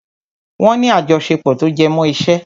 Wọ́n ní àjọṣepọ̀ tó jẹmọ́ iṣẹ́.